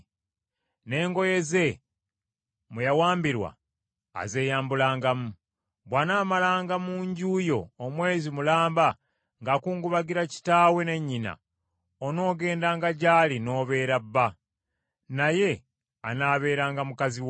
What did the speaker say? n’engoye ze mwe yawambirwa azeeyambulangamu. Bw’anaamalanga mu nju yo omwezi mulamba ng’akungubagira kitaawe ne nnyina, onoogendanga gy’ali n’obeera bba, naye anaabeeranga mukazi wo.